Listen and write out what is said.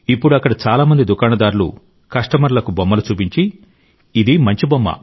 ఇప్పుడు అక్కడ చాలా మంది దుకాణదారులు కస్టమర్లకు బొమ్మలు చూపించి ఇది మంచి బొమ్మ